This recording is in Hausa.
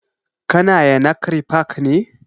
Ka na yanakri park ne?